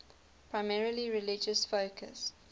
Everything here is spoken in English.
primarily religious focus